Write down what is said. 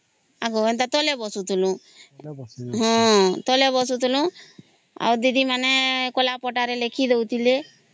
ଆଗ ଆମେ ତଳେ ବସୁଥିଲୁ ଆଉ ହଁ ଦିଦି ମାନେ କଳାପଟା ରେ ଲେଖିଦେଉ ଥିଲେ